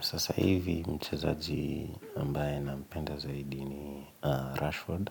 Sasa hivi mchezaji ambaye nampenda zaidi ni Rashford,